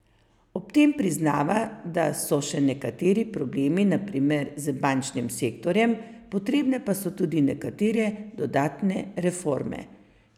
Ob tem priznava, da so še nekateri problemi, na primer z bančnim sektorjem, potrebne pa so tudi nekatere dodatne reforme.